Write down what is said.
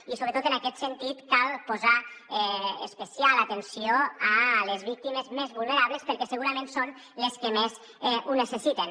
i sobretot en aquest sentit cal posar especial atenció a les víctimes més vulnerables perquè segurament són les que més ho necessiten